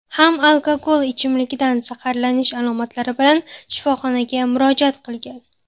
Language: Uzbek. ham alkogol ichimligidan zaharlanish alomatlari bilan shifoxonaga murojaat qilgan.